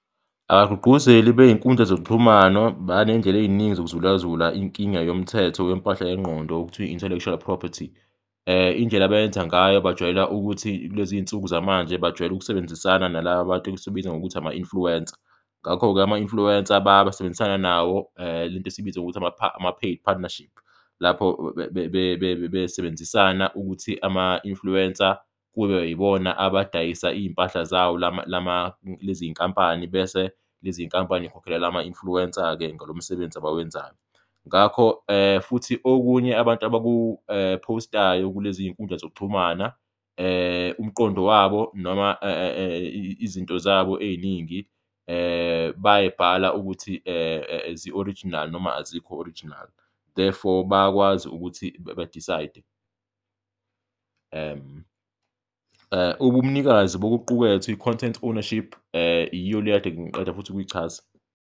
Abagqugquzeli bey'nkundla zokuxhumana baney'ndlela ey'ningi yokuzulazula inkinga yomthetho wempahla yengqondo, okuthiwa i-intellectual property, indlela abayenza ngayo, bajwayela ukuthi kulezi zinsuku zamanje bajwayele ukusebenzisana nalaba bantu esibabiza ngokuthi ama-influencer. Ngakho-ke ama-influencer basebenzisana nawo lento esiyibiza ngokuthi ama-paid partnership, lapho besebenzisana ukuthi ama-influencer kube yibona abadayisa iy'mpahla zawo lezi zinkampani bese lezi zinkampani zikhokhelela lama-influencer-ke ngalo msebenzi abawenzayo. Ngakho futhi okunye abantu abakuphowustayo kulezi zinkundla zokuxhumana, umqondo wabo noma izinto zabo ey'ningi bayayibhala ukuthi zi-original noma azikho original, therefore bayakwazi ukuthi badisayide ubumnikazi bokuqukethwe, i-content ownership, yiyo le ekade ngiqeda futhi ukuyichaza.